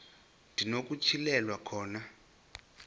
ndi nokutyhilelwa khona